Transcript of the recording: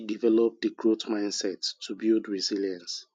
develop di growth mindset to build resilience